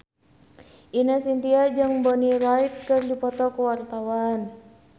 Ine Shintya jeung Bonnie Wright keur dipoto ku wartawan